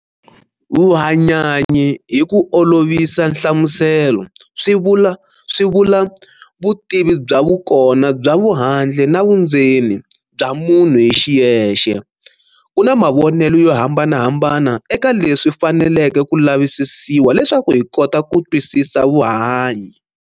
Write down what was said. Vuhanyanyi hi ku olovisa nhlamuselo, swivula vutivi bya vukona bya vuhandle na vundzeni bya munhu hi xiyexe. Kuna mavonele yo hambanahambana eka leswi faneleke ku lavisisiwa leswaku hi kota ku twisisa vuhanyi.